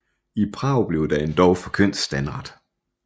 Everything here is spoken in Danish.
I Prag blev der endog forkyndt standret